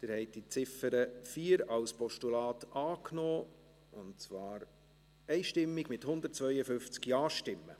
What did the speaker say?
Sie haben die Ziffer 4 als Postulat angenommen, und zwar einstimmig mit 152 Ja-Stimmen.